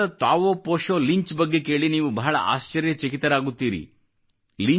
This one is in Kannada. ಅಮೇರಿಕದ ತಾವೋ ಪೊಶೊ ಲಿಂಚ್ ಬಗ್ಗೆ ಕೇಳಿ ನೀವು ಬಹಳ ಆಶ್ಚರ್ಯ ಚಕಿತರಾಗುತ್ತೀರಿ